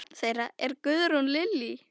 Barn þeirra er Guðrún Lillý.